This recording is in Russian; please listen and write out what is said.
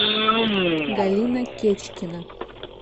галина кечкина